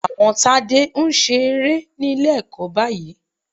Àwọn Tádé ń ṣe eré ní Ilé-ẹ̀kọ́ báyìí